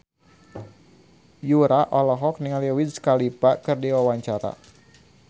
Yura olohok ningali Wiz Khalifa keur diwawancara